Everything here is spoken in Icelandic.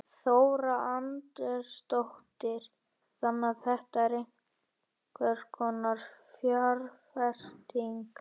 Þóra Arnórsdóttir: Þannig að þetta er einhvers konar fjárfesting?